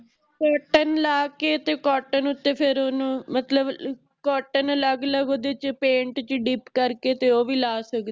Cotton ਲਾਕੇ ਕੇ ਤੇ Cotton ਉਤੇ ਤੇ ਫੇਰ ਓਹਨੂੰ ਮਤਲਬ cotton ਅਲਗ ਓਹਦੇ ਚ Paint ਚ Dip ਕਰਕੇ ਓਹ ਵੀ ਲਾ ਸਕਦੇ ਹੈ